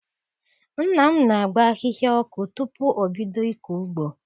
Nna m na-agba ahịhịa ọkụ tupu o bido ịkọ ugbo.